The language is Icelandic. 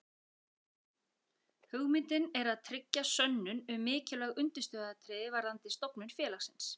Hugmyndin er að tryggja sönnun um mikilvæg undirstöðuatriði varðandi stofnun félagsins.